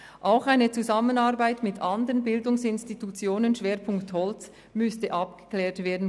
Auch eine Zusammenarbeit mit anderen Bildungsinstitutionen mit Schwerpunkt Holz müsste abgeklärt werden.